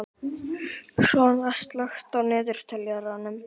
Svana, slökktu á niðurteljaranum.